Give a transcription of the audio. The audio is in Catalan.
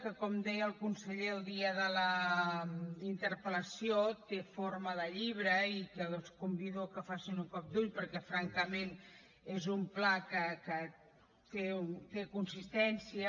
que com deia el conseller el dia de la interpel·lació té forma de llibre i els convido a que hi donin un cop d’ull perquè francament és un pla que té consistència